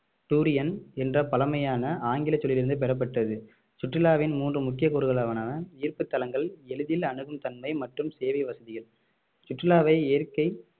durian என்ற பழமையான ஆங்கில சொல்லிலிருந்து பெறப்பட்டது சுற்றுலாவின் மூன்று முக்கிய கூறுகளான ஈர்ப்புத்தலங்கள் எளிதில் அணுகும் தன்மை மற்றும் சேவை வசதிகள் சுற்றுலாவை இயற்கை